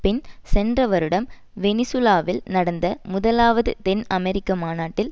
பின் சென்ற வருடம் வெனிசூலாவில் நடந்த முதலாவது தென் அமெரிக்க மாநாட்டில்